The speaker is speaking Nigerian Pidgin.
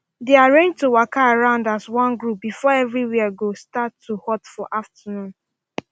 they arrange to waka around as one group before everywhere go start to hot for afternoon